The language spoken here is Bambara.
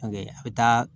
a bɛ taa